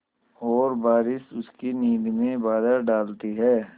और बारिश उसकी नींद में बाधा डालती है